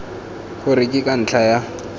gore ke ka ntlha ya